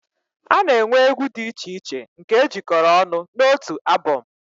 A na-enwe egwu dị iche iche nke e jikọrọ ọnụ n'otu abọm